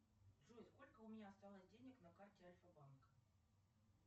джой сколько у меня осталось денег на карте альфа банка